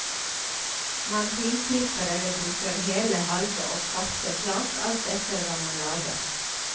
Man finklipper eller bruker hele, halve og kvarte flak, alt etter hva man lager.